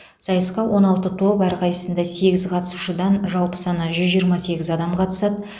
сайысқа он алты топ әрқайсысында сегіз қатысушыдан жалпы саны жүз жиырма сегіз адам қатысады